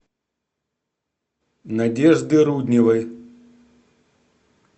надежды рудневой